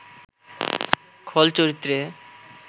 খল চরিত্রে